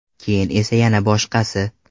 Keyin esa yana boshqasi.